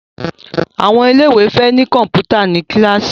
Àwọn ilé ìwé fè ní Kọ̀ǹpútà ní kilasi